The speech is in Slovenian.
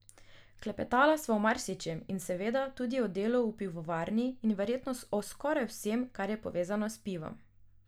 Klepetala sva o marsičem in seveda tudi o delu v pivovarni in verjetno o skoraj vsem, kar je povezano s pivom.